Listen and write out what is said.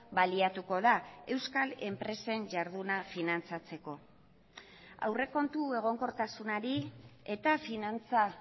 baliatuko da euskal enpresen jarduna finantzatzeko aurrekontu egonkortasunari eta finantza